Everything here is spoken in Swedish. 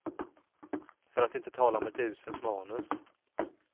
För att inte tala om ett uselt manus.